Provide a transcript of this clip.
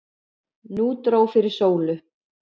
Nú dró fyrir sólu.